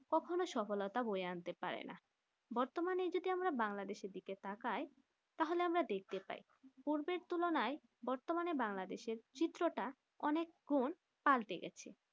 কখনো সফলতা বইয়ে আনতে পারে না বতর্মানে যদি আমরা বাংলাদেশ দিকে তাকাই তাহলে আমরা দেখতে পাই পূর্বে তুলনায় বতর্মানে বাংলাদেশ এর চিত্রটা অনেক গুন পাল্টে গাছে